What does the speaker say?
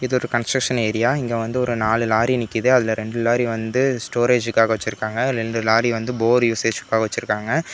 இதொரு construction area இங்க வந்து ஒரு நாலு லாரி நிக்கிது அதுல ரெண்டு லாரி வந்து ஸ்டோரேஜ்காக வச்சுருக்காங்க ரெண்டு லாரி வந்து போர் யூசேஜ்காக வச்சுருக்காங்க.